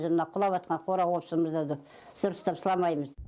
жылына құлап атқан қора қопсымызды да дұрыстап сыламаймыз